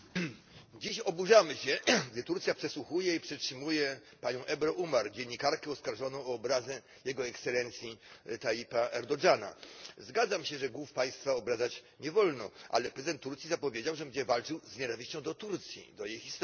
Dziś oburzamy się, gdy Turcja przesłuchuje i przetrzymuje panią Ebru Umar, dziennikarkę oskarżoną o obrazę Jego Ekscelencji Tayyipa Erdoğana. Zgadzam się, że głów państwa obrażać nie wolno, ale prezydent Turcji zapowiedział, że będzie walczył z nienawiścią do Turcji, do jej historii.